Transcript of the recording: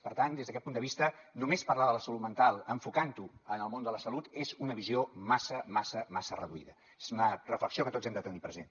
per tant des d’aquest punt de vista només parlar de la salut mental enfocant ho en el món de la salut és una visió massa massa massa reduïda és una reflexió que tots hem de tenir present